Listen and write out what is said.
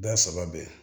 Ba saba bɛn